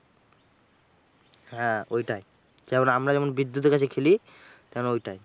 হ্যাঁ ওইটাই। যেমন আমরা যেমন বিদ্যুতের কাছে খেলি, তেমন ওইটাই।